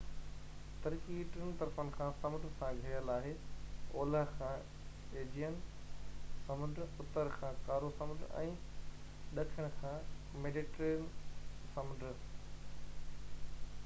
ترڪي ٽن طرفن کان سمنڊ سان گهيريل آهي اولهہ کان ايجيئن سمنڊ اتر کان ڪارو سمنڊ ۽ ڏکڻ کان ميڊيٽرينين سمنڊ